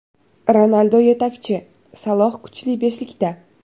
Ronaldu yetakchi, Saloh kuchli beshlikda !